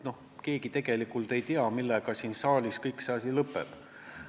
Keegi ju tegelikult ei tea, millega asi siin saalis lõpeb.